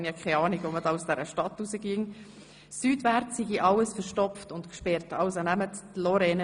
Bitte benützen Sie somit die Lorrainebrücke, wenn Sie mit dem Auto die Stadt verlassen wollen.